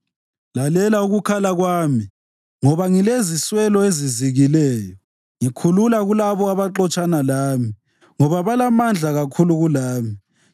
Lalela ukukhala kwami, ngoba ngileziswelo ezizikileyo, ngikhulula kulabo abaxotshana lami, ngoba balamandla kakhulu kulami.